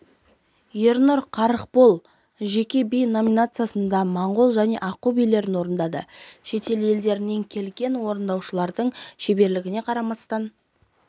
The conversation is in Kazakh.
ернұр қарықбол жеке би номинациясында моңғол және аққу билерін орындады шетел елдерден келген орындаушылардың шеберлігіне қарамастан